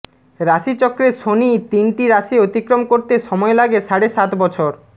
রাশিচক্রে শনি তিনটি রাশি অতিক্রম করতে সময় লাগে সাড়ে সাত বছর